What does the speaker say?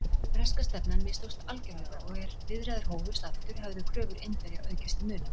Breska stefnan mistókst algjörlega og er viðræður hófust aftur, höfðu kröfur Indverja aukist til muna.